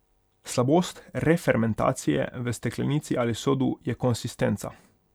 Slabost refermentacije v steklenici ali sodu je konsistenca.